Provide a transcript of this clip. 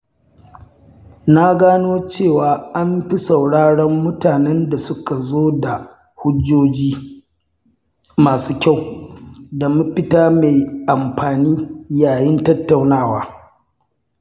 Na gano cewa an fi sauraron mutanen da suka zo da hujjoji masu kyau da mafita mai amfani yayin tattaunawa.